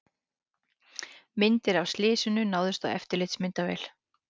Myndir af slysinu náðust á eftirlitsmyndavél